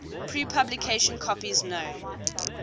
pre publication copies known